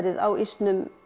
á ísnum